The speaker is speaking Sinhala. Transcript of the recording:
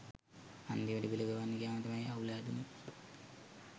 අන්තිමට බිල ගෙවන්න ගියාම තමයි අවුල හැදුනෙ.